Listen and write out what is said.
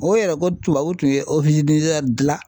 O yɛrɛ ko tubabu tun ye dilan.